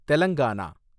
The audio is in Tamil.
தெலங்கானா